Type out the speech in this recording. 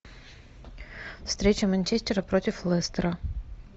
встреча манчестера против лестера